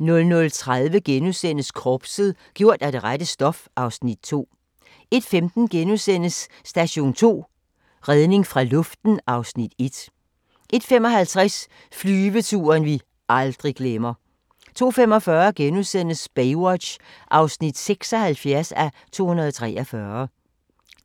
00:30: Korpset - gjort af det rette stof (Afs. 2)* 01:15: Station 2: Redning fra luften (Afs. 1)* 01:55: Flyveturen vi aldrig glemmer 02:45: Baywatch (76:243)*